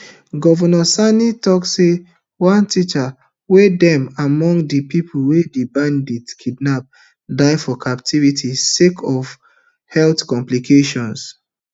govnor sani tok say one teacher wey dem among di pipo wey di bandits kidnap die for captivity sake of of health complications